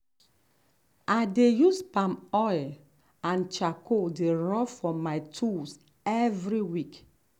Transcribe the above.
i dey use palm oil and charcoal dey rub for my tools every week.